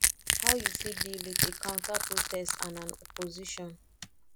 how you fit deal with a counterprotest and an opposition